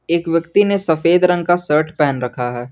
एक व्यक्ति ने सफेद रंग का शर्ट पेहन रखा है।